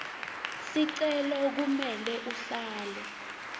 sicelo kumele uhlale